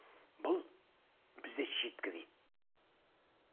бұл бізде читка дит